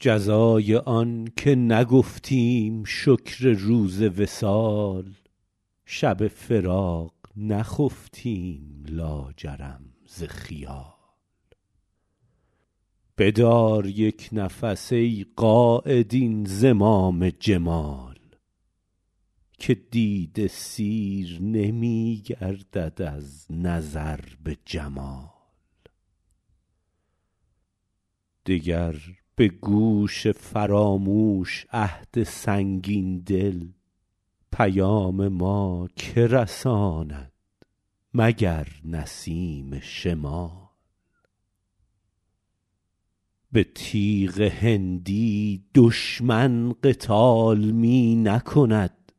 جزای آن که نگفتیم شکر روز وصال شب فراق نخفتیم لاجرم ز خیال بدار یک نفس ای قاید این زمام جمال که دیده سیر نمی گردد از نظر به جمال دگر به گوش فراموش عهد سنگین دل پیام ما که رساند مگر نسیم شمال به تیغ هندی دشمن قتال می نکند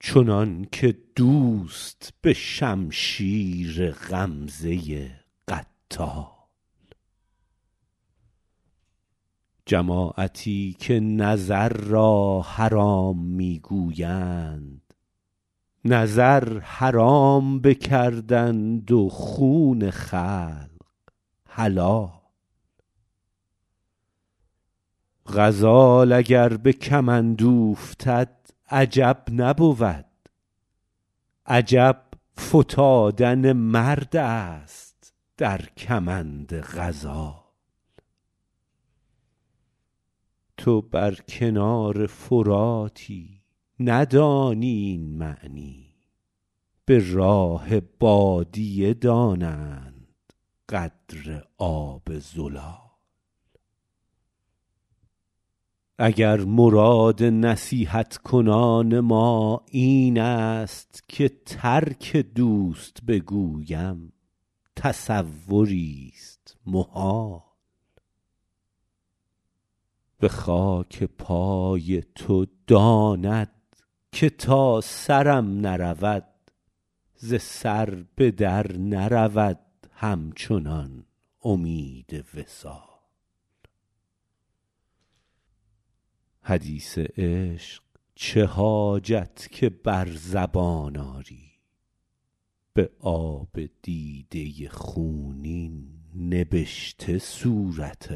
چنان که دوست به شمشیر غمزه قتال جماعتی که نظر را حرام می گویند نظر حرام بکردند و خون خلق حلال غزال اگر به کمند اوفتد عجب نبود عجب فتادن مرد است در کمند غزال تو بر کنار فراتی ندانی این معنی به راه بادیه دانند قدر آب زلال اگر مراد نصیحت کنان ما این است که ترک دوست بگویم تصوریست محال به خاک پای تو داند که تا سرم نرود ز سر به در نرود همچنان امید وصال حدیث عشق چه حاجت که بر زبان آری به آب دیده خونین نبشته صورت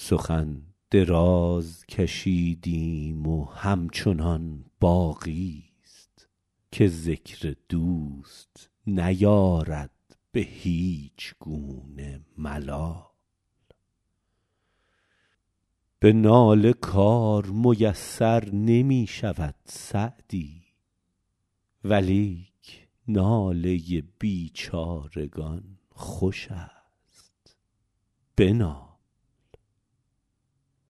حال سخن دراز کشیدیم و همچنان باقیست که ذکر دوست نیارد به هیچ گونه ملال به ناله کار میسر نمی شود سعدی ولیک ناله بیچارگان خوش است بنال